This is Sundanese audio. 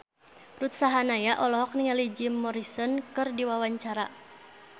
Ruth Sahanaya olohok ningali Jim Morrison keur diwawancara